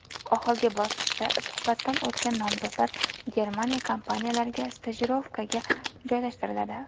Oxirgi bosqichda suhbatdan o‘tgan nomzodlar Germaniya kompaniyalariga stajirovkaga joylashtiriladi.